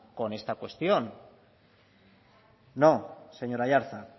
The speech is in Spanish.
con esta cuestión no señor aiartza